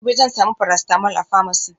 gobe zan samu paracetamol a pharmacy